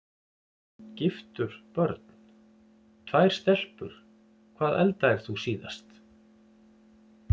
Giftur Börn: Tvær stelpur Hvað eldaðir þú síðast?